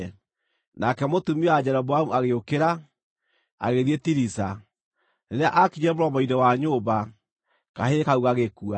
Nake mũtumia wa Jeroboamu agĩũkĩra, agĩthiĩ Tiriza. Rĩrĩa aakinyire mũromo-inĩ wa nyũmba, kahĩĩ kau gagĩkua.